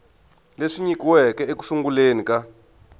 leswi nyikiweke eku sunguleni ka